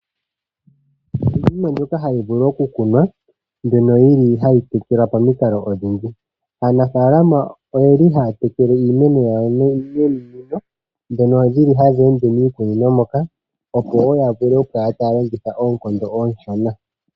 Ope na iinima oyindji mbyono hayi vulu okukunwa mbyono yi li hayi tekelwa pamikalo odhindji. Aanafalama oye li haya tekele iimeno yawo nominino, dhono dhili hadhi ende miikunino moka opo wo ya vule okukala taya longitha oonkondo ooshona.